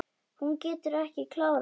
Hún getur ekki klárað.